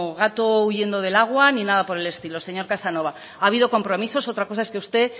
gato huyendo del agua ni nada por el estilo señor casanova ha habido compromisos otra cosa es que usted